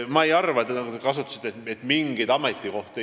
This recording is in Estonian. Te mainisite mingeid ametikohti.